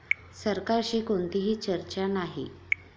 सरकारशी कोणतीही चर्चा नाही'